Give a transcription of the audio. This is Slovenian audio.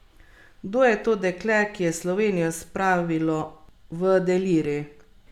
Kdo je to dekle, ki je Slovenijo spravilo v delirij?